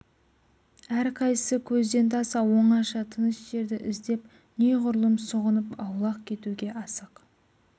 әрқайсысы көзден таса оңаша тыныш жерді іздеп неғұрлым сұғынып аулақ кетуге асық